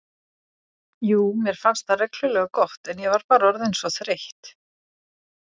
Jú, mér fannst það reglulega gott, en ég var bara orðin svo þreytt.